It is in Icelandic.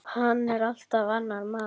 Hann er allt annar maður.